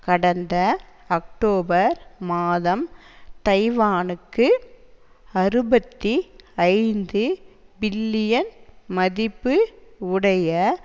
கடந்த அக்டோபர் மாதம் தைவானுக்கு அறுபத்தி ஐந்து பில்லியன் மதிப்பு உடைய